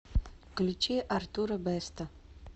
включи артура бэста